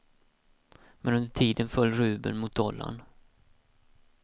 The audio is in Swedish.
Men under tiden föll rubeln mot dollarn.